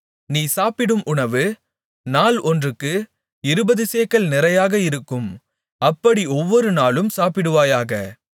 நீ சாப்பிடும் உணவு நாள் ஒன்றுக்கு இருபது சேக்கல் நிறையாக இருக்கும் அப்படி ஒவ்வொருநாளும் சாப்பிடுவாயாக